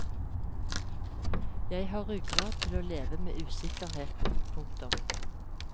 Jeg har ryggrad til å leve med usikkerheten. punktum